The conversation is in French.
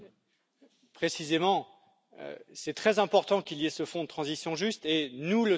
Précisément, c'est très important qu'il y ait ce fonds de transition juste et nous le soutenons.